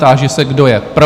Táži se, kdo je pro?